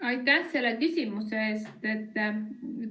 Aitäh selle küsimuse eest!